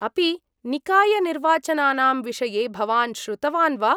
अपि निकायनिर्वाचनानां विषये भवान् श्रुतवान् वा ?